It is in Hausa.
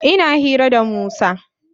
Ina hira da Musa.